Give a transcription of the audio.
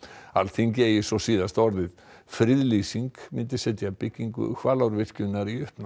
Alþingi eigi svo síðasta orðið friðlýsing myndi setja byggingu Hvalárvirkjunar í uppnám